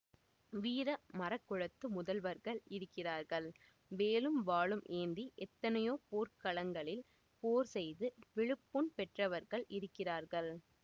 வீர மறக்குலத்து முதல்வர்கள் இருக்கிறார்கள் வேலும் வாளும் ஏந்தி எத்தனையோ போர்க்களங்களில் போர் செய்து விழுப்புண் பெற்றவர்கள் இருக்கிறார்கள்